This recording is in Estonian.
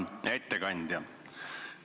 Hea ettekandja!